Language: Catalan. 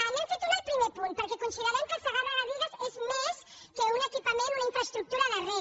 n’hem fet una al primer punt perquè considerem que el segarra garrigues és més que un equipament una infraestructura de reg